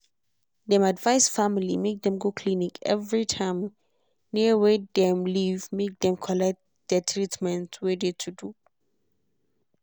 dem advice family make dem go clinic every time near wey dem live make dem follow collect de treatment wey de to do.